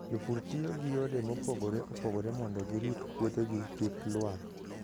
Jopur tiyo gi yore mopogore opogore mondo girit puothegi kik lwar.